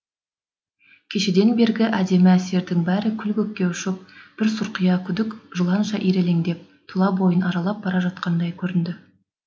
кешеден бергі әдемі әсердің бәрі күлі көкке ұшып бір сұрқия күдік жыланша ирелеңдеп тұла бойын аралап бара жатқандай көрінді